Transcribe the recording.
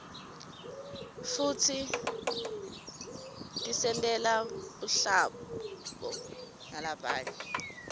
futsi tisentela buhlabo nalabanye